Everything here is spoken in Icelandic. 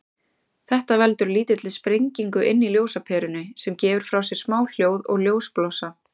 Þetta veldur lítilli sprengingu inni í ljósaperunni, sem gefur frá sér smá hljóð og ljósblossa.